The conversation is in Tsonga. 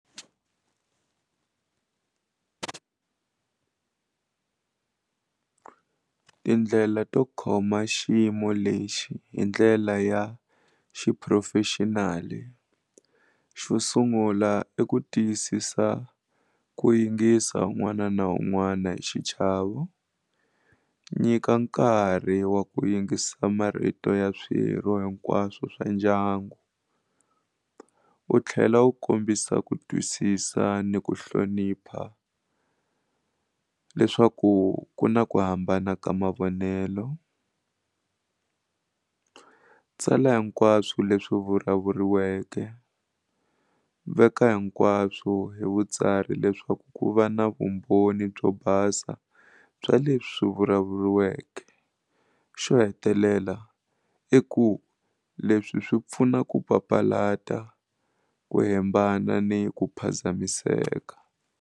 Tindlela to khoma xiyimo lexi hi ndlela ya xiphurofexinali xo sungula i ku tiyisisa ku yingisa un'wana na un'wana hi xichavo nyika nkarhi wa ku yingisa marito ya swirho hinkwaswo swa ndyangu wu tlhela wu kombisa ku twisisa ni ku hlonipha leswaku ku na ku hambana ka mavonelo tsala hikwaswo leswi vulavuriweke veka hikwaswo hi vutsari leswaku ku va na vumbhoni byo basa bya leswi vulavuriweke xo hetelela i ku leswi swi pfuna ku papalata ku hembana ni ku phazamiseka.